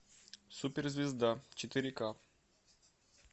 суперзвезда четыре ка